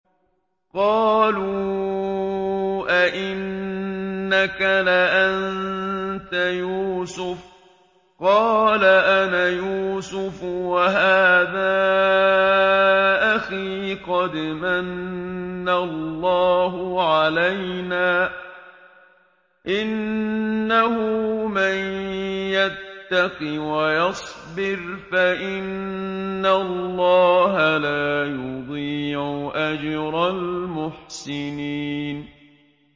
قَالُوا أَإِنَّكَ لَأَنتَ يُوسُفُ ۖ قَالَ أَنَا يُوسُفُ وَهَٰذَا أَخِي ۖ قَدْ مَنَّ اللَّهُ عَلَيْنَا ۖ إِنَّهُ مَن يَتَّقِ وَيَصْبِرْ فَإِنَّ اللَّهَ لَا يُضِيعُ أَجْرَ الْمُحْسِنِينَ